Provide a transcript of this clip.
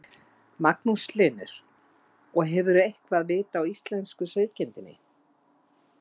Magnús Hlynur: Og hefurðu eitthvað vit á íslensku sauðkindinni?